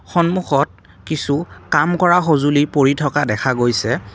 সন্মুখত কিছু কাম কৰা সঁজুলি পৰি থকা দেখা গৈছে।